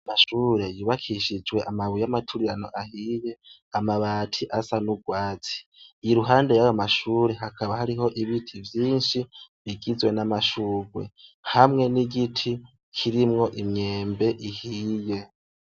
Amashure yubakishijwe amabuye y'amaturirano ahiye amabati asa n'ugwatsi iyi ruhande y'abamashure hakaba hariho ibiti vyinshi bigizwe n'amashugwe hamwe n'igiti kirimwo imyembe ihiye.